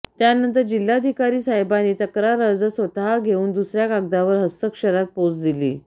त्यानंतर जिल्हाधिकारी साहेबांनी तक्रार अर्ज स्वतः घेऊन दुसऱ्या कागदावर हस्तक्षरात पोच दिली